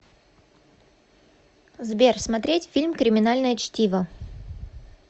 сбер смотреть фильм криминальное чтиво